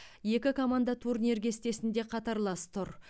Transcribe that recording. екі команда турнир кестесінде қатарлас тұр